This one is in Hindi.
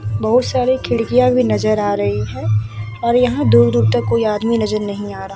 बोहोत सारी खिड़कियाँ भी नज़र आ रही है और यहाँ दूर-दूर तक कोई आदमी नज़र नहीं आ रहा --